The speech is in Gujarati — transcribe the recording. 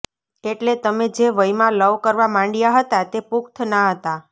એટલે તમે જે વયમાં લવ કરવા માંડયા હતા તે પુખ્ત ના હતા